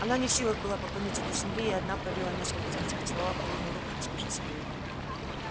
она не в силах была поклониться до земли и одна пролила несколько слез поцеловав холодную руку госпожи своей